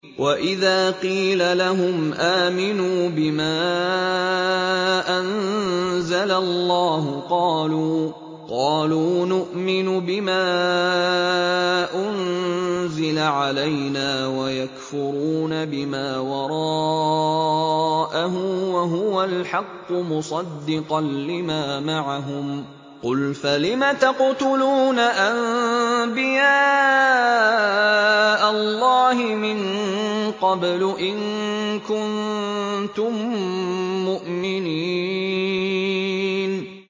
وَإِذَا قِيلَ لَهُمْ آمِنُوا بِمَا أَنزَلَ اللَّهُ قَالُوا نُؤْمِنُ بِمَا أُنزِلَ عَلَيْنَا وَيَكْفُرُونَ بِمَا وَرَاءَهُ وَهُوَ الْحَقُّ مُصَدِّقًا لِّمَا مَعَهُمْ ۗ قُلْ فَلِمَ تَقْتُلُونَ أَنبِيَاءَ اللَّهِ مِن قَبْلُ إِن كُنتُم مُّؤْمِنِينَ